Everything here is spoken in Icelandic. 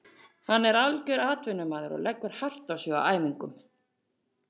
Hann er algjör atvinnumaður og leggur hart á sig á æfingum.